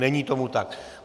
Není tomu tak.